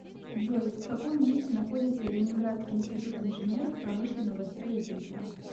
джой в каком месте находится ленинградский институт инженеров промышленного строительства